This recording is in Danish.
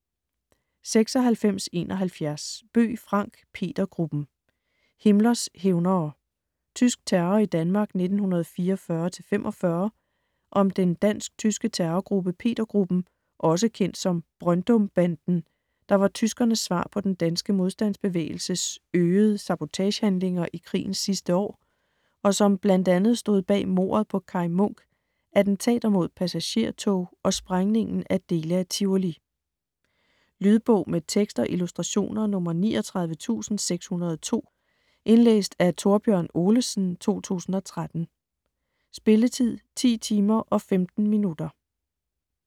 96.71 Bøgh, Frank: Petergruppen: Himmlers hævnere: tysk terror i Danmark 1944-45 Om den dansk/tyske terrorgruppe Peter-Gruppen, også kendt som Brøndumbanden, der var tyskernes svar på den danske modstandsbevægelses øgede sabotagehandlinger i krigens sidste år, og som bl.a. stod bag mordet på Kaj Munk, attentater mod passagertog og sprængningen af dele af Tivoli. Lydbog med tekst og illustrationer 39602 Indlæst af Thorbjørn Olesen, 2013. Spilletid: 10 timer, 15 minutter.